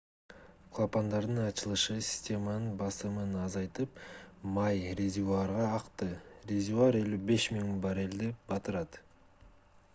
клапандардын ачылышы системанын басымын азайтып май резервуарга акты резервуар 55 000 баррелди 2,3 миллион галлон батырат